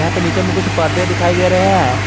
यहां पे नीचे में कुछ पर्दे दिखाई दे रहे हैं।